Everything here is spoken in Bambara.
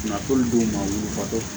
Nafolo don maa wolofatɔ